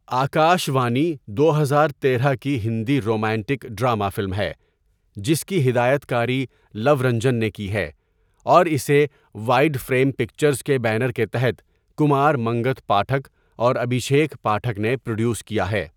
آکاش وانی دو ہزار تیرہ کی ہندی رومانٹک ڈرامہ فلم ہے جس کی ہدایت کاری لو رنجن نے کی ہے اور اسے وائیڈ فریم پکچرز کے بینر کے تحت کمار منگت پاٹھک اور ابھیشیک پاٹھک نے پروڈیوس کیا ہے۔